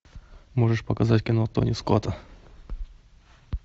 можешь показать кино тони скотта